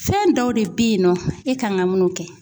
Fɛn dɔw de be yen nɔ e kan ŋa munun kɛ